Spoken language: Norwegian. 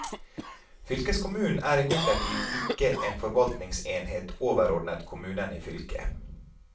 Fylkeskommunen er imidlertid ikke en forvaltningsenhet overordnet kommunene i fylket.